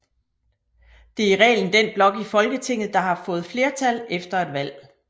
Det er i reglen den blok i Folketinget der har fået flertal efter et valg